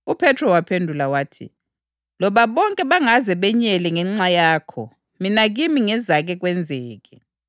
Kodwa ngemva kokuba sengivukile kwabafileyo, ngizalandulela ukuya eGalile.”